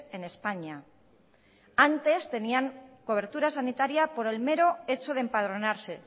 en españa antes tenían cobertura sanitaria por el mero hecho de empadronarse